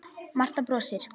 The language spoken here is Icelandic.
Marta brosir.